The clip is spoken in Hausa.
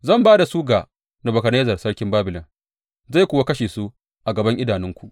Zan ba da su ga Nebukadnezzar sarkin Babilon, zai kuwa kashe su a gaban idanunku.